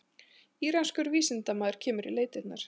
Íranskur vísindamaður kemur í leitirnar